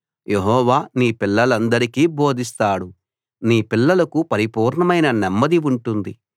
యెహోవా నీ పిల్లలందరికీ బోధిస్తాడు నీ పిల్లలకు పరిపూర్ణమైన నెమ్మది ఉంటుంది